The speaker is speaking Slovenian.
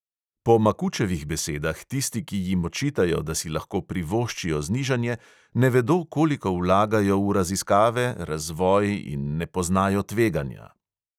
Po makučevih besedah tisti, ki jim očitajo, da si lahko privoščijo znižanje, ne vedo, koliko vlagajo v raziskave, razvoj, in ne poznajo tveganja.